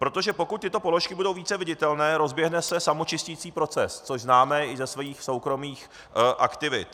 Protože pokud tyto položky budou více viditelné, rozběhne se samočisticí proces, což známe i ze svých soukromých aktivit.